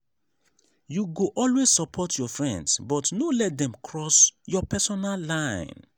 you go always support your friends but no let dem cross your personal line.